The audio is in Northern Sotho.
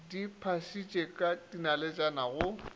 di phasitše ka dinaletšana go